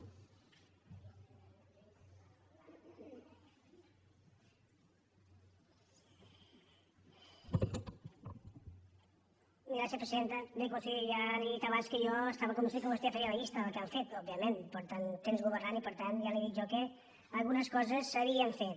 bé conseller ja li he dit abans que jo estava convençut que vostè faria la llista del que han fet òbviament fa temps que governen i per tant ja li he dit jo que algunes coses s’havien fet